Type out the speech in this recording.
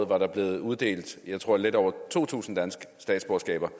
var der blevet uddelt lidt over to tusind danske statsborgerskaber